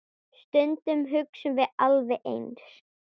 Stundum hugsum við alveg eins.